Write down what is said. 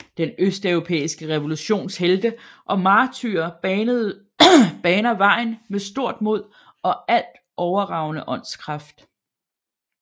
Den østeuropæiske revolutions helte og martyrer baner vejen med stort mod og alt overragende åndskraft